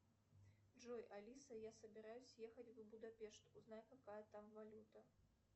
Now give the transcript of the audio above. джой алиса я собираюсь ехать в будапешт узнай какая там валюта